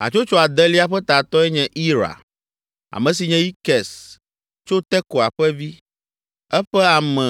Hatsotso adelia ƒe tatɔe nye Ira, ame si nye Ikes tso Tekoa ƒe vi. Eƒe ame